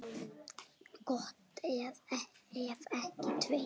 Gott ef ekki tveir.